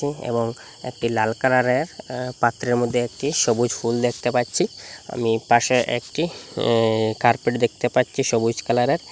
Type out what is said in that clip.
এবং একটি লাল কালারের আ পাত্রের মদ্যে একটি সবুজ ফুল দেখতে পাচ্ছি আমি পাশে একটি ই-ই কার্পেট দেখতে পাচ্ছি সবুজ কালারের।